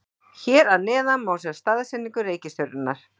hér að neðan má sjá staðsetningu reikistjörnunnar